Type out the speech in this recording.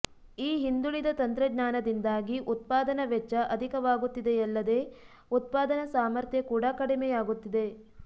ಈ ಹಿಂದುಳಿದ ತಂತ್ರಜ್ಞಾನದಿಂದಾಗಿ ಉತ್ಪಾದನಾ ವೆಚ್ಚ ಅಧಿಕವಾಗುತ್ತಿದೆಯಲ್ಲದೆ ಉತ್ಪಾದನಾ ಸಾಮರ್ಥ್ಯ ಕೂಡ ಕಡಿಮೆಯಾಗುತ್ತಿದೆ